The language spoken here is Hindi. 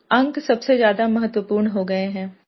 अंक सबसे ज़्यादा महत्वपूर्ण हो गए हैं